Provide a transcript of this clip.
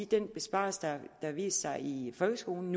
den besparelse der har vist sig i folkeskolen